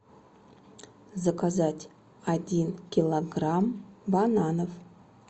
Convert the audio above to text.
заказать один килограмм бананов